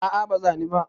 a a ba zani ba